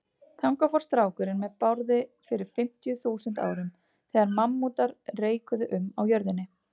Þangað fór strákurinn með Bárði fyrir fimmtíu þúsund árum, þegar mammútar reikuðu um á jörðinni.